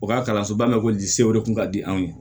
U ka kalanso ba ma ko je o de kun ka di anw ye